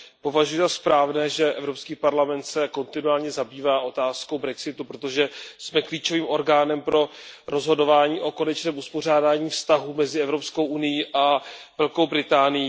Považuji za správné, že Evropský parlament se kontinuálně zabývá otázkou brexitu, protože jsme klíčovým orgánem pro rozhodování o konečném uspořádání vztahů mezi Evropskou unií a Velkou Británií.